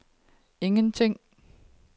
ingenting